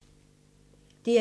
DR1